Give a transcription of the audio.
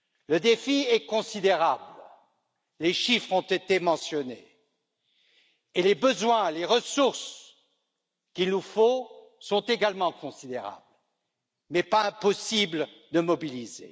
Le défi est considérable, les chiffres ont été mentionnés et les ressources qu'il nous faut sont également considérables, mais pas impossible à mobiliser.